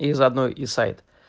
и за оно и сайт